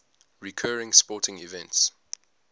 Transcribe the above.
recurring sporting events